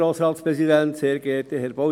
Kommissionssprecher der GPK.